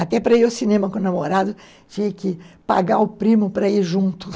Até para ir ao cinema com o namorado, tinha que pagar o primo para ir junto.